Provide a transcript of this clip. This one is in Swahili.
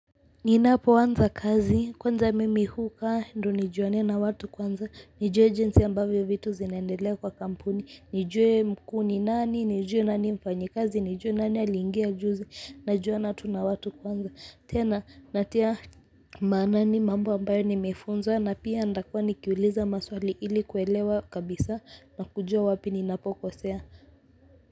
Ninapoanza kazi kwanza mimi hukaa ndo nijuane na watu kwanza nijue jinsi ambavyo vitu zinaendelea kwa kampuni nijue mkuu ni nani nijue nani mfanyikazi nijue nani aliingia juzi najuana tu na watu kwanza tena natia maanani mambo ambayo nimefunzwa na pia nitakuwa nikiuliza maswali ili kuelewa kabisa na kujua wapi ninapokosea.